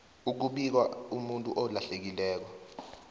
ukubika umuntu olahlekileko